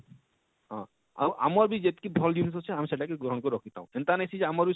ହଁ ଆଉ ଆମର ବି ଯେତକି ଭଲ ଜିନିଷ ଅଛେ ଆମେ ସେଟା କେ ଗ୍ରହଣ କରି ରଖି ଥାଉ ଏନତା ନେଇ ସେ ଯେ ଆମର ବି